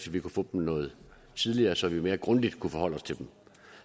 vi kunne få dem noget tidligere så vi mere grundigt kunne forholde os til dem